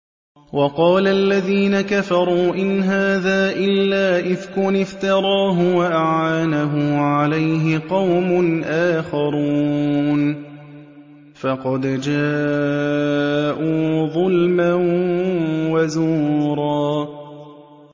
وَقَالَ الَّذِينَ كَفَرُوا إِنْ هَٰذَا إِلَّا إِفْكٌ افْتَرَاهُ وَأَعَانَهُ عَلَيْهِ قَوْمٌ آخَرُونَ ۖ فَقَدْ جَاءُوا ظُلْمًا وَزُورًا